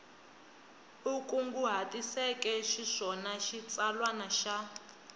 u kunguhatiseke xiswona xitsalwana xa